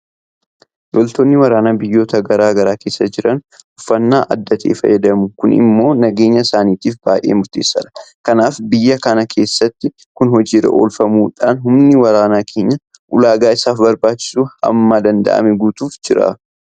Loltoonni waraanaa biyyoota garaa garaa keessa jiran uffannaa adda ta'e fayyadamu. Kun immoo nageenya isaaniitiif baay'ee murteessaadha. Kanaaf biyya kana keessattis kun hojii irra oolfamuudhaan humni waraanaa keenya ulaagaa isaaf barbaachisu hamma danda'ame guutamaafii jira.